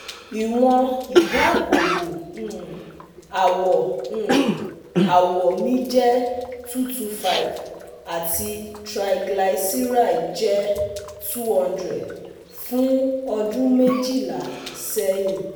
Iwọn idaabobo um awọ um awọ mi jẹ two hundred twenty five ati triglyceride jẹ two hundred fun ọdun mejila sẹhin